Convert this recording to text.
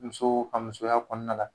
Muso a musoya kɔnɔna la